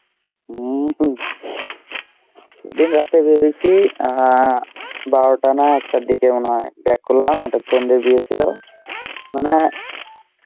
সেদিন রাতে বেরৈছি অ্যাঁ বারোটা না একটার দিকে মনেহয় back করলাম একটা friend এর বিয়ে ছিল মনে হয়